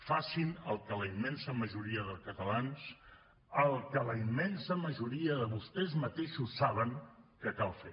facin el que la immensa majoria de catalans el que la immensa majoria de vostès mateixos saben que cal fer